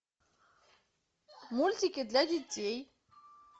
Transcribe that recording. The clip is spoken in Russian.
мультики для детей